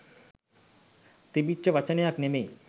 තිබිච්ච වචනයක් නෙමෙයි.